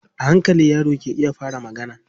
A hankali yaro ke iya fara magana.